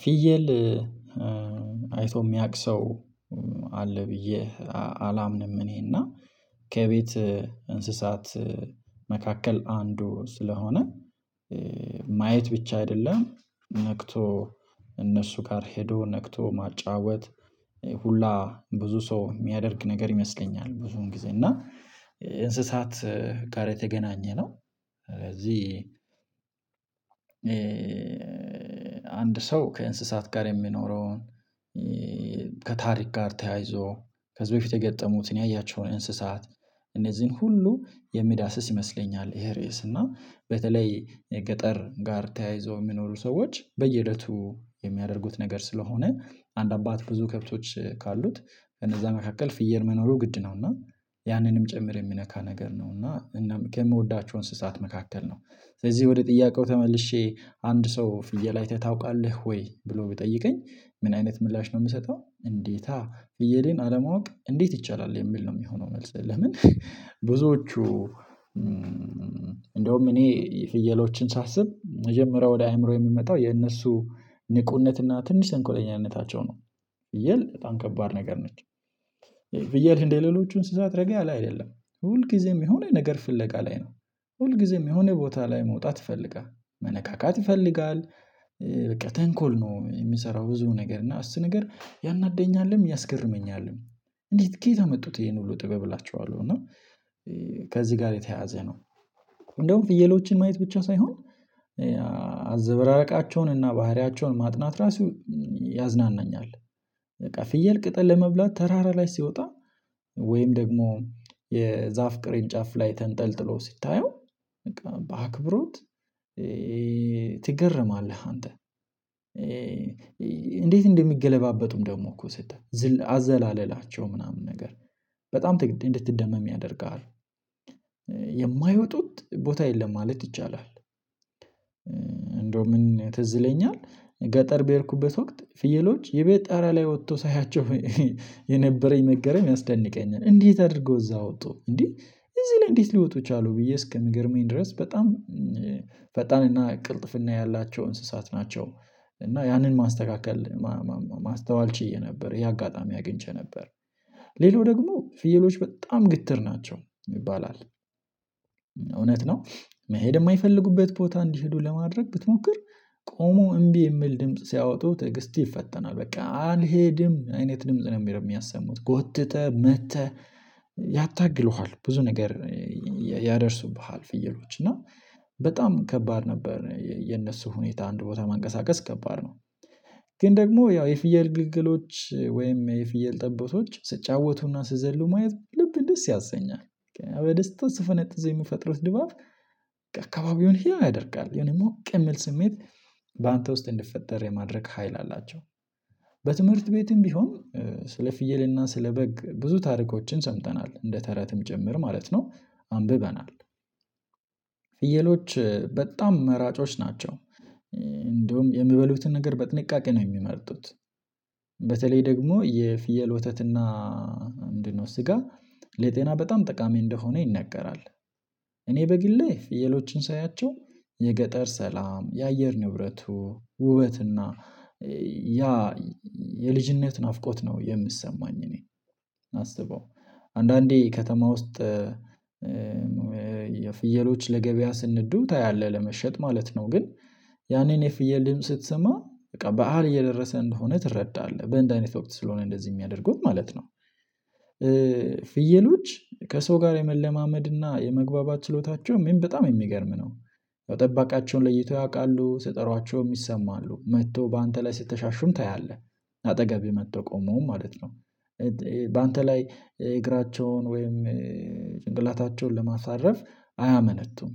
ፊየል አይቶ የሚያውቅ ሰው አለ ብዬ አላምንም እኔና ከቤት እንስሳት መካከል አንዱ ስለሆነ ማየት ብቻ አይደለም ነክቶ እነሱ ጋር ሄዶ ነክቶ ማጫወት ሁላ ብዙ ሰው የሚያደርግ ነገር ይመስለኛል። ብዙን ጊዜ እና እንስሳት ጋር የተገናኘ ነው። ስለዚህ አንድ ሰው ከእንስሳት ጋር የሚኖረውን ከታሪክ ጋር ተያይዞ ከዚህ በፊት የገጠሙትን ያያቸውን እንስሳት እነዚህን ሁሉ የሚዳስስ ይመስለኛል። ይሄ ሬስ እና በተለይ ገጠር ጋር ተያይዞ የሚኖሩ ሰዎች በየለቱ የሚያደርጉት ነገር ስለሆነ አንድ አባት ብዙ ከብቶች ካሉት እነዛ መካከል ፍየል መኖሩ ግድ ነው እና ያንንም ጭምር የሚነካ ነገር ነው እና እናም ከምወዳቸው እንስሳት መካከል ነው። ስለዚህ ወደ ጥያቄው ተመልሼ አንድ ሰው ፍየል አይተህ ታውቃለህ ወይ? ብሎ ብጠይቀኝ ምን አይነት ምላሽ ነው ምሰጠው እንዴታ ፍየሌን አለማወቅ እንዴት ይቻላል የሚል ነው የሚሆነው። መልስ ለምን አንድ ሰው ከእንስሳት ጋር የሚኖረውን ከታሪክ ጋር ተያይዞ ከዚህ በፊት የገጠሙትን ያያቸውን እንስሳት እነዚህን ሁሉ የሚዳስስ ይመስለኛል። ይሄ ሬስ እና በተለይ ገጠር ጋር ተያይዞ የሚኖሩ ሰዎች በየህይወቱ የሚያደርጉት ነገር ስለሆነ አንድ አባት ብዙ ከብቶች ካሉት እነዛ መካከል ፍየር መኖሩ ግድ ነው እና ያንንም ጭምር የሚነካ ነገር ነው እና እናም ከምወዳቸው እንስሳት መካከል ነው። ስለዚህ ወደ ጥያቄው ተመልሼ አንድ ሰው ፍየል አይተህ ታውቃለህ ወይ? ብሎ ብጠይቀኝ ምን አይነት ምላሽ ነው የምሰጠው እንዴት ፍየሌን አለማወቅ እንዴት ይቻላል የሚል ነው የሚሆነው። መልስ ለምን ብዙዎቹ እንደውም እኔ ፍየሎችን ሳስብ መጀመሪያ ወደ አእምሮ የምመጣው የእነሱ ንቁነትና ትንሽ እንኮለኛነታቸው ነው። ከዚህ ጋር የተያያዘ ነው። እንደውም ፍየሎችን ማየት ብቻ ሳይሆን ብዬ እንደሌሎቹን ስዛት ረገያለ አይደለም ሁል ጊዜም የሆነ ነገር ፍለቃ ላይ ነው። ሁል ጊዜም የሆነ ቦታ ላይ መውጣት ይፈልጋል መነካካት ይፈልጋል። በቃ ተንኮል ነው የሚሰራው ብዙ ነገር እና እሱ ነገር ያናደኛልም ያስገርመኛልም። እንዴት ከየት አመጡት ይሄን ሁሉ ጥበብ እላቸዋለሁ። እና ከዚህ ጋር የተያያዘ ነው። እንደውም ፍየሎችን ማየት ብቻ ሳይሆን አዘበራረቃቸውን እና ባህሪያቸውን ማጥናት ራሱ ያዝናናኛል። በቃ ፍየል ቅጠል ለመብላት ተራራ ላይ ሲወጣ ወይም ደግሞ የዛፍ ቅሬን ጫፍ ላይ ተንጠልጥሎ ሲታየው በቃ በአክብሮት ትገረማለህ። አንተ እንዴት እንደሚገለባበጡም ደግሞ እኮ ስጠህ አዘላለላቸው ምናምን ነገር በጣም እንድትደመም ያደርጋሉ። እንዴት አድርገው እዚያ ወጡ የማይወጡት ቦታ የለም ማለት ይቻላል። እንደውም ምን ትዝለኛል ገጠር በሄድኩበት ወቅት ፍየሎች የቤት ጠራ ላይ ወጥቶ ሳያቸው የነበረኝ መገረም ያስደንቀኛል። እንዴት አድርገው እዛ ወጡ እንዴ እዚህ ላይ እንዴት ሊወጡ ቻሉ ብዬ እስከምገርመኝ ድረስ። በጣም ፈጣንና ቅልጥፍና ያላቸው እንስሳት ናቸው። እና ያንን ማስተካከል ቆሞ እምቢ የሚል ድምጽ ሲያወጡ ትዕግስት ይፈተናል። በቃ አልሄድም አይነት ድምጽ ነው የሚሄደው። የሚያሰሙት ጎትተህ መተህ ያታግሉሀል ብዙ ነገር ያደርሱብሃል። ፍየሎች እና በጣም ከባድ ነበር የነሱ ሁኔታ አንድ ቦታ መንቀሳቀስ ከባድ ነው። ግን ደግሞ ያው የፍየል ግልገሎች ወይም የፍየል ጠቦቶች ስጫወቱና ስዘሉ ማየት ልብን ደስ ያሰኛል። በደስታ ስፈነጥዝ የምፈጥሩት ድባብ አካባቢውን ህያው ያደርጋል። የሆነ ሞቅ ምል ስሜት በአንተ ውስጥ እንድፈጠር የማድረግ ሀይል አላቸው። በትምህርት ቤትም ቢሆን ስለ ፍየልና ስለ በግ ብዙ ታርኮችን ሰምተናል እንደ ተረትም ጭምር ማለት ነው አንብበናል። ፍየሎች በጣም መራጮች ናቸው እንደውም የምበሉትን ነገር በጥንቃቄ ነው የሚመርጡት። በተለይ ደግሞ የፍየል ወተትና ምንድነው ስጋ ለጤና በጣም ጠቃሚ እንደሆነ ይነገራል። እኔ በግሌ ፍየሎቹን ሳያቸው የገጠር ሰላም የአየር ንብረቱ ውበትና ያ የልጅነት ናፍቆት ነው የምሰማኝ እኔ አስበው አንዳንዴ ከተማ ውስጥ የፍየሎች ለገበያ ስንዱ ታያለህ ለመሸጥ ማለት ነው። ግን ያኔን የፍየል ድምጽ ስትሰማ በቃ በዓል እየደረሰ እንደሆነ ትረዳለህ በእንደህ አይነት ወቅት ስለሆነ እንደዚህ ሚያደርገው ማለት ነው። ፍየሎች ከሰው ጋር የመለማመድና የመግባባት ችሎታቸው ምን በጣም የሚገርም ነው። ተጠባቃቸውን ለይተው ያውቃሉ ስጠራቸውም ይሰማሉ መቶ በአንተ ላይ ስትሻሹም ታያለህ አጠገብ መቶ ቆመውም ማለት ነው። በአንተ ላይ እግራቸውን ወይም ጭንቅላታቸውን ለማሳረፍ አያመነቱም።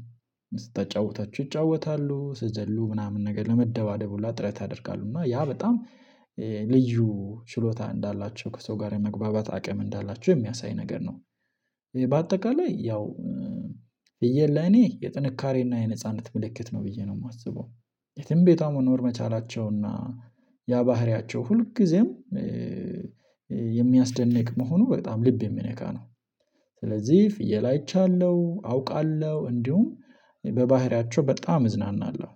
ስታጫውታቸው ይጫወታሉ ስዘሉ ምናምን ነገር ለመደባደብ ሁላ ጥረት ያደርጋሉ እና ያ በጣም ልዩ ችሎታ እንዳላቸው ከሰው ጋር የመግባባት አቅም እንዳላችሁ የሚያሳይ ነገር ነው። በአጠቃላይ ያው ፍየል ለኔ የጥንካሬና የነጻነት ምልክት ነው ብዬ ነው ማስበው። የትም ቤቷ መኖር መቻላቸውና ያ ባህሪያቸው ሁልጊዜም የሚያስደንቅ መሆኑ በጣም ልብ የሚነካ ነው። ስለዚህ ፍየል አይቻለሁ አውቃለሁ እንዲሁም በባህሪያቸው በጣም እዝናናለሁ።